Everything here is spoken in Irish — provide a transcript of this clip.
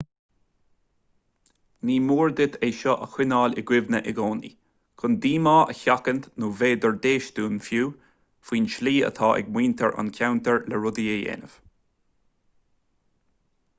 ní mór duit é seo a choinneáil i gcuimhne i gcónaí chun díomá a sheachaint nó b'fhéidir déistin fiú faoin tslí atá ag muintir an cheantair le rudaí a dhéanamh